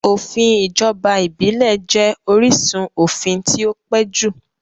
Òfin ìjọba ìbílẹ̀ jẹ́ orísun òfin tí ó pẹ́ jù